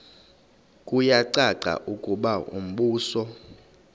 kuyacaca ukuba umbuso